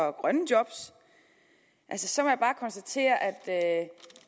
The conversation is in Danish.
og grønne job så må jeg bare konstatere at